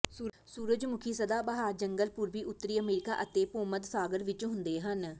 ਸੂਰਜਮੁਖੀ ਸਦਾਬਹਾਰ ਜੰਗਲ ਪੂਰਬੀ ਉੱਤਰੀ ਅਮਰੀਕਾ ਅਤੇ ਭੂਮੱਧ ਸਾਗਰ ਵਿਚ ਹੁੰਦੇ ਹਨ